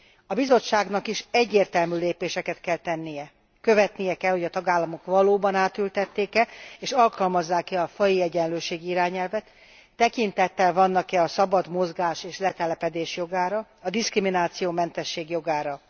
A Bizottságnak is egyértelmű lépéseket kell tennie követnie kell, hogy a tagállamok valóban átültették e és alkalmazzák e a faji egyenlőségi irányelvet, tekintettel vannak e a szabad mozgás és letelepedés jogára, a diszkrimináció mentesség jogára.